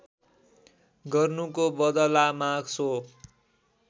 गर्नुको बदलामा सो